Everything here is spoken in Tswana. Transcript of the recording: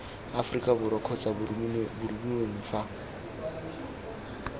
aforika borwa kgotsa boromiweng fa